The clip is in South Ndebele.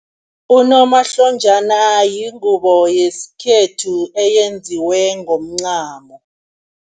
Unomahlonjana yingubo yesikhethu eyenziwe ngomncamo.